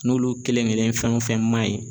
N'olu kelen kelen fɛn o fɛn man ɲi